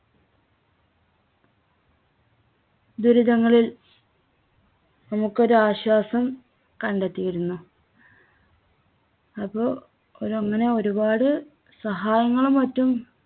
ദുരിതങ്ങളിൽ നമുക്കൊരു ആശ്വാസം കണ്ടെത്തിയിരുന്നു. അപ്പോ ഒരങ്ങനെ ഒരുപാട് സഹായങ്ങളും മറ്റും